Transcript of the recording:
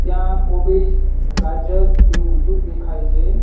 ત્યાં કોબીજ ગાજર એવું બધું દેખાય છે.